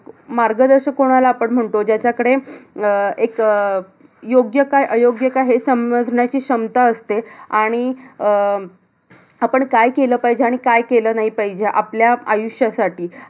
मार्गदर्शक कोणाला आपण म्हणतो ज्याच्याकडे, अह एक अह योग्य काय अयोग्य काय हे समजण्याची क्षमता असते. आणि अं आपण काय केलं पाहिजे. आणि काय केलं नाही पाहिजे आपल्या आयुष्यासाठी.